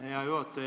Hea juhataja!